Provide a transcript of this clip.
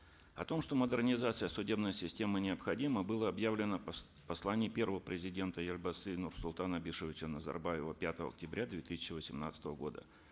о том что модернизация судебной системы необходима было объявлено в послании первого президента елбасы нурсултана абишевича назарбаева пятого октября две тысячи восемнадцатого года